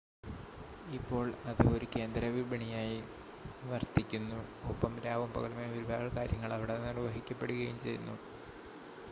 ഇപ്പോൾ അത് ഒരു കേന്ദ്ര വിപണിയായി വർത്തിക്കുന്നു, ഒപ്പം രാവും പകലുമായി ഒരുപാട് കാര്യങ്ങൾ അവിടെ നിർവ്വഹിക്കപ്പെടുകയും ചെയ്യുന്നു